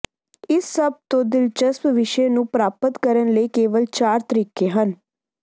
ਇਸ ਸਭ ਤੋਂ ਦਿਲਚਸਪ ਵਿਸ਼ੇ ਨੂੰ ਪ੍ਰਾਪਤ ਕਰਨ ਲਈ ਕੇਵਲ ਚਾਰ ਤਰੀਕੇ ਹਨ